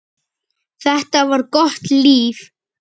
Þetta var gott líf.